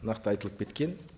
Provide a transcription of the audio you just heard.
нақты айтылып кеткен